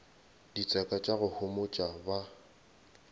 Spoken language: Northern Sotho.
ditseka tša go homotša ba